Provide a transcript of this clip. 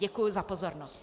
Děkuji za pozornost.